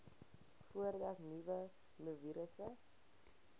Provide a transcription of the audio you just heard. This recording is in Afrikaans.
voordat nuwe mivirusse